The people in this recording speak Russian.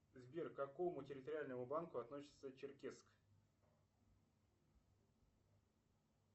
сбер к какому территориальному банку относится черкесск